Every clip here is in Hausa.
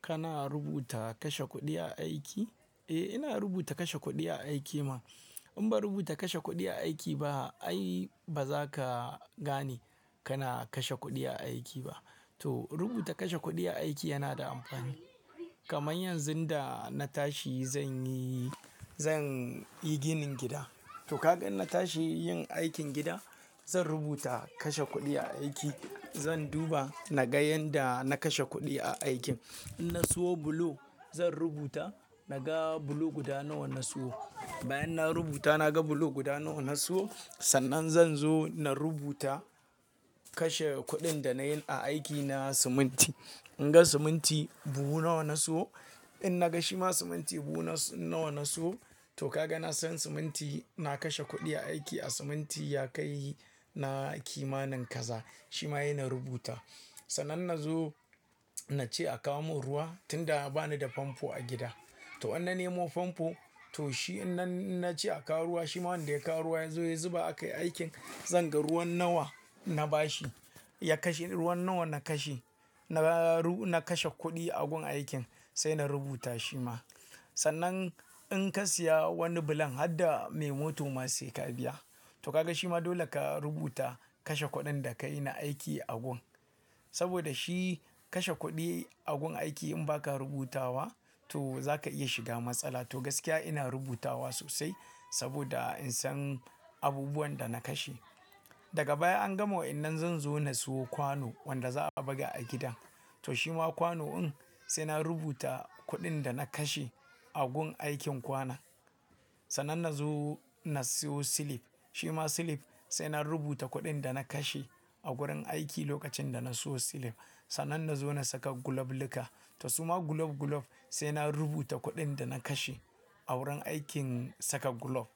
Kana rubuta kashe kuɗi a aiki? Eh, ina rubuta kashe kuɗi a aiki man. In ban rubuta kashe kuɗi aiki ba, ai ba za ka gane kana kashe kuɗi a aiki ba. To rubuta kashe kuɗi a aiki yana da amfani. Kamar yanzu da na tashi zan yi, zan yi ginin gida. To ka ga in na tashi yin aikin gidan, zan rubuta kashe kuɗi a aiki. Zan duba naga yanda na kashe kuɗi a aikin. In na siyo bulo zan rubuta naga bulo guda nawa na siyo. Bayan na rubuta naga bulo guda nawa na siyo, sannan zan zo in dan rubuta kashe kuɗin da nayi a aiki na siminti. In ga siminti buhu nawa na siyo. In naga shima siminti buhu nawa na siyo. To kaga na san siminti na kashe kuɗi a aiki, a siminti ya kai na kimanin kaza. Shi ma he na rubuta. Sannan na zo na ce a kawo min ruwa tun da ba ni da famfo a gida. To in na nemo famfo. To shi in na, in na ce a kawo ruwa, shi ma wanda ya kawo ruwan ya zo ya zuba akai aikin, zan ga ruwan nawa na bashi. Ya kashe ruwan nawa na kashe. Na kashe kuɗi a gun aikin sai na rubuta shi ma. Sannan in ka siya wani bulon, har da mai mota ma sai ka biya. To kaga shi ma dole ka rubuta kashe kuɗin da ka yi na aiki a gun. Saboda shi kashe kuɗi a gun aiki in ba ka rubutawa to za ka iya shiga matsala. To gaskiya ina rubutawa sosai saboda in san abubuwan da na kashe. Daga baya an gama wannan zan zo na siyo kwano wanda za a buga a gida. To shi ma kwano in sai na rubuta kuɗin da na kashe a gun aikin kwana. Sannan na zo na siyo silif. Shi ma silif sai na rubuta kuɗin da na kashe a wurin aiki lokacin da na siyo silif. Sannan na zo na saka gulob luka. To su ma gulob gulob sai na rubuta kuɗin da na kashe a wurin aikin saka gulob.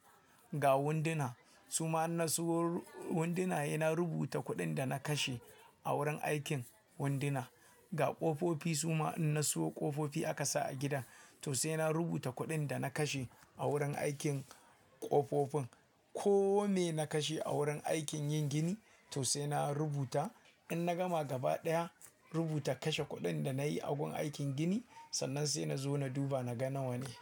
Ga winduna. Su ma in na siyo winduna, ina rubuta kuɗin da na kashe a wurin aikin winduna. Ga ƙofofi su ma in na siyo ƙofofi aka sa a gida. To sai na rubuta kuɗin da na kashe a wurin aikin ƙofofin. Ko me na kashe a wurin aikin yin gini to sai na rubuta. In na gama gaba daya rubuta kashe kuɗin da na yi a gun aikin gini sannan sai na zo na duba naga nawa ne.